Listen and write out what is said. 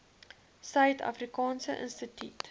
suid afrikaanse instituut